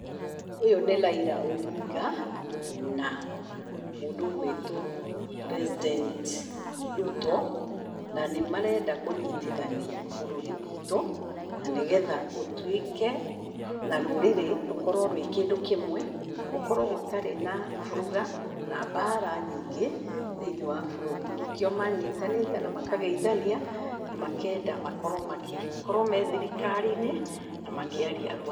Ũyũ nĩ Raila Odinga na mũndũ ũgũĩtwo President Ruto na nĩ marenda kũnyitithania bũrũri witũ, na nĩgetha ũtuĩke na rũrĩrĩ rũkorwo rwĩ kĩndũ kĩmwe. Gũkorwo gũtarĩ na buruga na mbaara nyingĩ thĩinĩ wa bũrũri. Nĩkĩo manyitanĩte na makageithania, na makenda makorwo, makorwo me thirikari-inĩ na makiaria rũmwe.